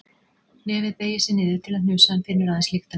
Nefið beygir sig niður til að hnusa en finnur aðeins lyktina af mér.